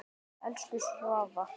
Elsku Svava.